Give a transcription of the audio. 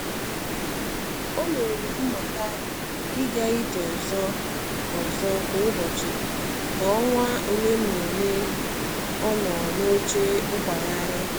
O mere mmuta i ga ije ọzọ ọzọ kwa ụbọchị ka ọnwa ole na ole ọ nọ um n'oche nkwagharị.